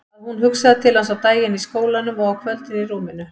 Að hún hugsaði til hans á daginn í skólanum og á kvöldin í rúminu.